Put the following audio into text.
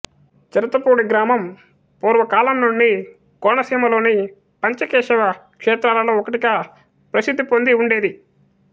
చిరతపూడి గ్రామంపూర్వ కాలమునుండి కోనసీమలోని పంచకేశవ క్షేత్రాలలో ఒకటిగా ప్రసిద్ధిపొంది యుండెడిది